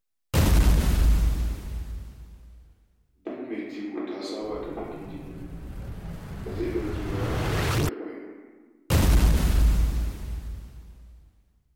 Duk mai jego ta saba da biƙin jini da zai ɗauke tsawon kwanaki arba'in.